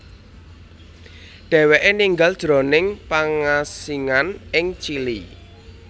Dhèwèké ninggal jroning pangasingan ing Chili